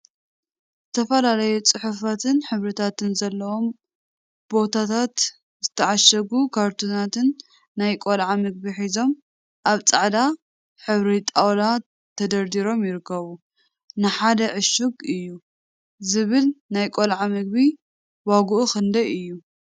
ዝተፈላለዩ ፅሑፋትን ሕብሪታትን ዘለዎም ባኮታት/ዝተዓሸጉ ካርቶናት ናይ ቆልዓ ምግቢ ሒዞም አብ ፃዕዳ ሕብሪ ጣውላ ተደርዲሮም ይርከቡ፡፡ ን ሓደ ዕሽግ “አዩ” ዝብል ናይ ቆልዓ ምግቢ ዋግኡ ክንደይ እዩ?